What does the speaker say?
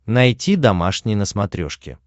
найти домашний на смотрешке